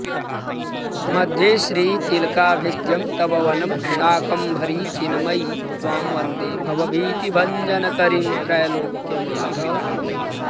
मध्ये श्रीतिलकाभिधं तव वनं शाकम्भरी चिन्मयी त्वां वन्दे भवभीतिभञ्जनकरीं त्रैलोक्यमातः शिवे